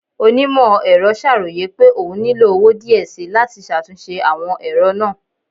Onimọ-ẹrọ ṣaroye pe oún nilo owo diẹ síí lati ṣatunṣe awọn ẹrọ naa